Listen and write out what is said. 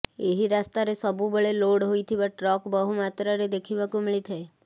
ଏହି ରାସ୍ତାରେ ସବୁବେଳେ ଲୋଡ୍ ହୋଇଥିବା ଟ୍ରକ୍ ବହୁମାତ୍ରାରେ ଦେଖିବାକୁ ମିଳିଥାଏ